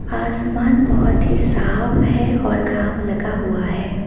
आसमान बहोत ही साफ है और घाम लगा हुआ है।